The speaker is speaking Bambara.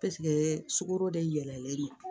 sukoro de yɛlɛlen don